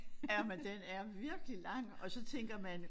Ja men den er virkelig lang og så tænker man